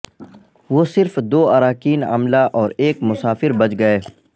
وہ صرف دو اراکین عملہ اور ایک مسافر بچ گئے